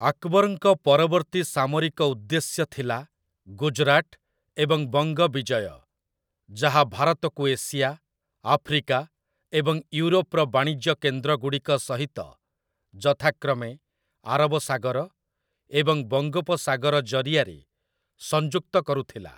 ଆକବରଙ୍କ ପରବର୍ତ୍ତୀ ସାମରିକ ଉଦ୍ଦେଶ୍ୟ ଥିଲା ଗୁଜରାଟ ଏବଂ ବଙ୍ଗ ବିଜୟ, ଯାହା ଭାରତକୁ ଏସିଆ, ଆଫ୍ରିକା ଏବଂ ୟୁରୋପର ବାଣିଜ୍ୟ କେନ୍ଦ୍ରଗୁଡ଼ିକ ସହିତ ଯଥାକ୍ରମେ ଆରବ ସାଗର ଏବଂ ବଙ୍ଗୋପସାଗର ଜରିଆରେ ସଂଯୁକ୍ତ କରୁଥିଲା ।